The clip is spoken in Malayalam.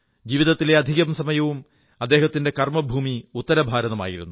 ജീവിതത്തിലെ അധികം സമയവും അദ്ദേഹത്തിന്റെ കർമ്മഭൂമി ഉത്തരഭാരതം ആയിരുന്നു